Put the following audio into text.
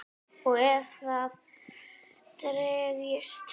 Og ef það dregst.